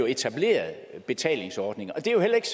etableret betalingsordninger og det er jo heller ikke